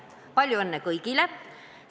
Palju õnne kõigile!